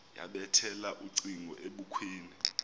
yabethela ucingo ebukhweni